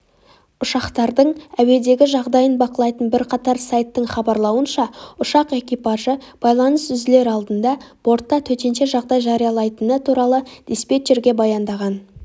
ұшақтардың әуедегі жағдайын бақылайтын бірқатар сайттың хабарлауынша ұшақ экипажы байланыс үзілер алдында бортта төтенше жағдай жариялайтыны туралы диспетчерге баяндаған